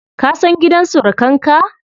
Ka san gidan surukan ka?